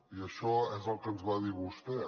i això és el que ens va dir vostè